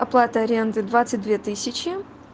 оплата аренды двадцать две тысячи